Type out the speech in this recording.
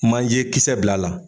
Manjekisɛ bil'a la.